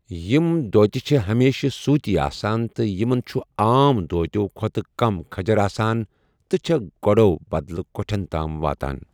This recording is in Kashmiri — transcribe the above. یِم دھوتہِ چھے٘ ہمیشِہٕ سوُتی آسان تہٕ یمن چھٗ عام دھوتِیو٘ كھو٘تہٕ كم كھجر آسان ، تہٕ چھے٘ گوڈو٘ بدلہٕ كوٹھین تام واتان ۔